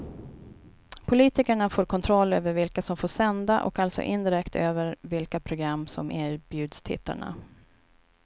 Politikerna får kontroll över vilka som får sända och alltså indirekt över vilka program som erbjuds tittarna.